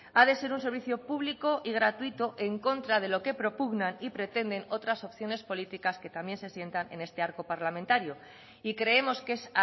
ha de ser un servicio público y gratuito en contra de lo que propugnan y pretenden otras opciones políticas que también se sientan en este arco parlamentario y creemos que es